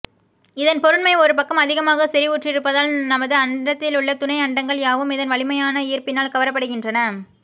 இதன் பொருண்மை ஒரு பக்கம் அதிகமாகச் செரிவுற்றிருப்பதால் நமது அண்டத்திலுள்ள துணை அண்டங்கள் யாவும் இதன் வலிமையான ஈர்ப்பினால் கவரப்படுகின்றன